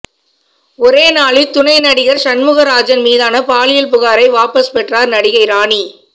ஒரே நாளில் துணை நடிகர் சண்முக ராஜன் மீதான பாலியல் புகாரை வாபஸ் பெற்றார் நடிகை ராணி